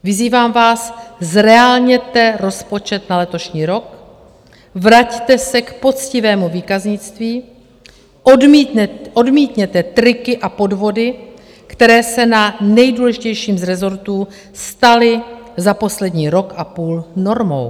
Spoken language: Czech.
Vyzývám vás, zreálněte rozpočet na letošní rok, vraťte se k poctivému výkaznictví, odmítněte triky a podvody, které se na nejdůležitějším z rezortů staly za poslední rok a půl normou.